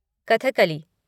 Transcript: Kathakali